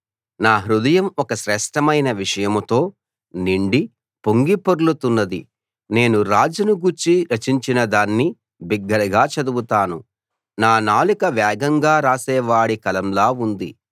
నా హృదయం ఒక శ్రేష్ఠమైన విషయంతో నిండి పొంగి పొర్లుతున్నది నేను రాజును గూర్చి రచించిన దాన్ని బిగ్గరగా చదువుతాను నా నాలుక వేగంగా రాసేవాడి కలంలా ఉంది